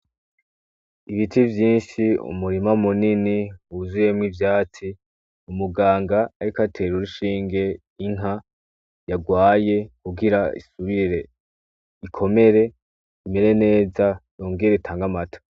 Ibiti vyinshi, umurima munini, wuzuyemwo ivyatsi. Umuganga ariko atera urushinge inka yagwaye, kugira isubire ikomere, imere neza, yongere itange amata.